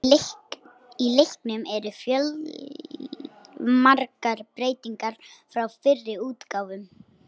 Í leiknum eru fjölmargar breytingar frá fyrri útgáfum.